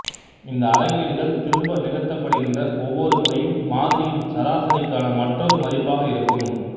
இந்த அளவீடுகள் திரும்ப நிகழ்த்தப்படுகின்ற ஒவ்வொரு முறையும் மாதிரியின் சராசரிக்கான மற்றொரு மதிப்பாக இருக்கும்